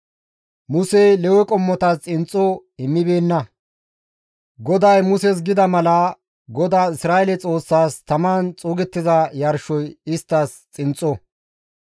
Musey Lewe qommotas xinxxo immibeenna; GODAY Muses gida mala, GODAAS Isra7eele Xoossaas taman xuugettiza yarshoy isttas xinxxo.